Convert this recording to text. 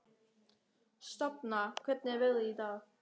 Sjafnar, hvernig er veðrið í dag?